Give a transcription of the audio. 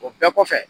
O bɛɛ kɔfɛ